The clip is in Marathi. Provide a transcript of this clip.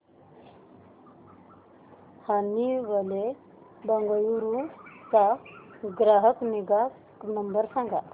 हनीवेल बंगळुरू चा ग्राहक निगा नंबर सांगा